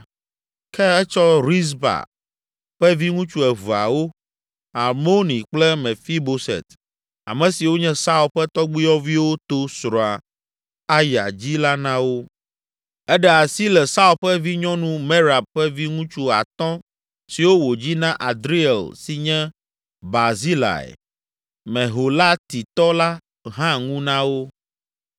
Ke etsɔ Rizpa ƒe viŋutsu eveawo, Armoni kple Mefiboset ame siwo nye Saul ƒe tɔgbuiyɔviwo to srɔ̃a Aya dzi la na wo. Eɖe asi le Saul ƒe vinyɔnu Merab ƒe viŋutsu atɔ̃ siwo wòdzi na Adriel si nye Barzilai, Meholatitɔ la hã ŋu na wo.